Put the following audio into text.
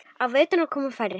Á veturna koma færri.